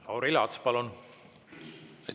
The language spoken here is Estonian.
Lauri Laats, palun!